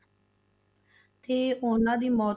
ਤੇ ਉਹਨਾਂ ਦੀ ਮੌਤ,